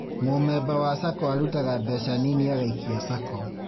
Mũmemba wa SACCO arutaga mbeca nini agaikia SACCO